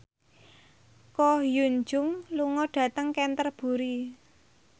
Ko Hyun Jung lunga dhateng Canterbury